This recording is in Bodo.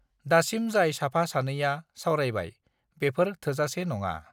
दासिम जाय साफा सानैया सावरायबाय बेफोर थोजासे नोङा